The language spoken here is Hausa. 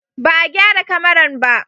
Ba a gyara kamaran ba?